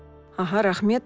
аха рахмет